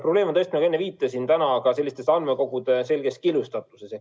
Probleem on, nagu enne viitasin, andmekogude selges killustatuses.